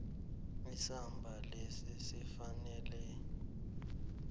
isamba lesi sifanele